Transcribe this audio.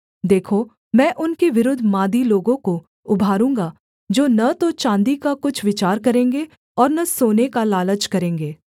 देखो मैं उनके विरुद्ध मादी लोगों को उभारूँगा जो न तो चाँदी का कुछ विचार करेंगे और न सोने का लालच करेंगे